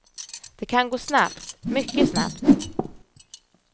Det kan gå snabbt, mycket snabbt.